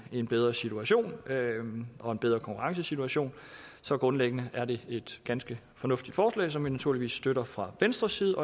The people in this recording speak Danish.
en bedre situation og en bedre konkurrencesituation så grundlæggende er det et ganske fornuftigt forslag som vi naturligvis støtter fra venstres side